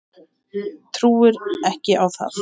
Trúi ekki á það.